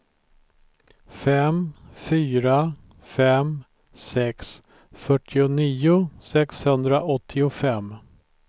fem fyra fem sex fyrtionio sexhundraåttiofem